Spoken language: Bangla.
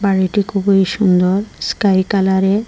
বাড়িটি খুবই সুন্দর স্কাই কালারে।